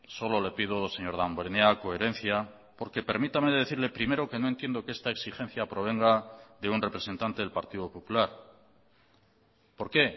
solo le pido señor damborenea coherencia porque permítame decirle primero que no entiendo que esta exigencia provenga de un representante del partido popular por qué